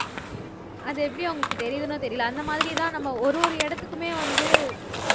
அது எப்படி அவங்களுக்கு தெரியுதுன்னோ தெரியலை அந்த மாதிரிதான் நம்ம ஒரு ஒரு இடத்துக்குமே வந்து